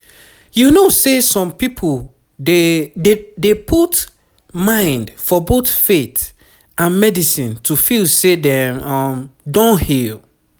you know say some people dey dey put mind for both faith and medicine to feel say dem don heal